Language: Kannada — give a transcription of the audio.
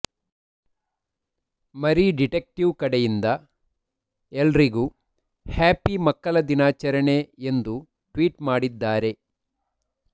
ಮರಿ ಡಿಟೆಕ್ಟೀವ್ ಕಡೆಯಿಂದ ಎಲ್ರಿಗೂ ಹ್ಯಾಪಿ ಮಕ್ಕಳ ದಿನಾಚರಣೆ ಎಂದು ಟ್ವೀಟ್ ಮಾಡಿದ್ದಾರೆ